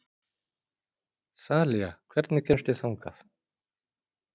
Þalía, hvernig kemst ég þangað?